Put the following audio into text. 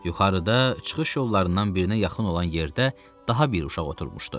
Yuxarıda çıxış yollarından birinə yaxın olan yerdə daha bir uşaq oturmuşdu.